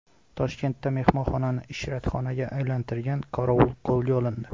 Toshkentda mehmonxonani ishratxonaga aylantirgan qorovul qo‘lga olindi.